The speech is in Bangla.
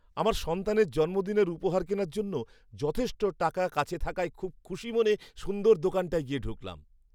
আমার সন্তানের জন্মদিনের উপহার কেনার জন্য যথেষ্ট টাকা কাছে থাকায় খুব খুশি মনে সুন্দর দোকানটায় গিয়ে ঢুকলাম।